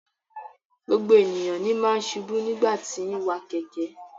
Gbogbo ènìyàn ní máa n ṣubu nigbati ti n wa kẹkẹ.